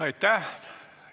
Aitäh!